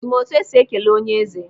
I ma otu esi ekele onye eze?